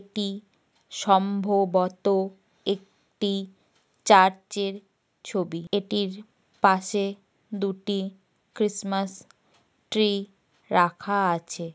এটি সম্ভবত একটি চার্চ -এর ছবি। এটির পাশে দুটি ক্রিসমাস ট্রি রাখা আছে।